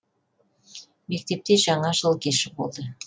мектепте жаңа жыл кеші болды